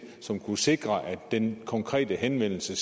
som kan sikre at den konkrete henvendelse